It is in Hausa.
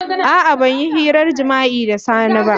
A'a ban yi hirar jima'i da Sani ba.